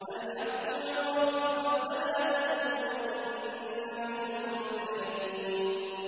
الْحَقُّ مِن رَّبِّكَ ۖ فَلَا تَكُونَنَّ مِنَ الْمُمْتَرِينَ